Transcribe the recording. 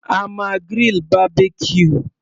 A máa grill Barbecue.